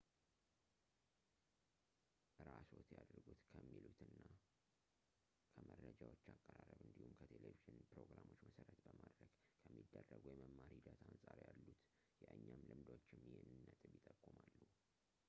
እራስዎት ያድርጉት ከሚሉትና ከመረጃዎች አቀራረብ እንዲሁም ከቴሌቭዥን ፕሮግራሞች መሰረት በማድረግ ከሚደረጉ የመማር ሂደት አንፃር ያሉት የእኛም ልምዶችም ይህንን ነጥብ ይጠቁማሉ